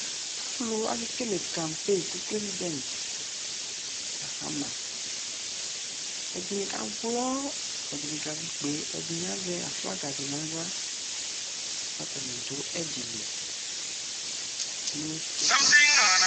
Alu, ake kele campe ko Prɛsidɛnt Mahana Ɛdene ka wlɔ, ɛdene kavi ikpe, ɛdene be azɛ aflaga de nahla ka atane so ɛde li no